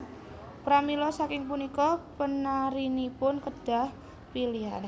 Pramila saking punika penarinipun kedah pilihan